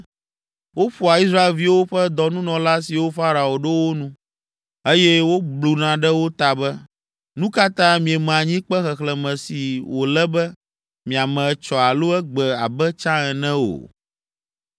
Woƒoa Israelviwo ƒe dɔnunɔla siwo Farao ɖo wo nu, eye wobluna ɖe wo ta be, “Nu ka ta mieme anyikpe xexlẽme si wòle be miame etsɔ alo egbe abe tsã ene o?”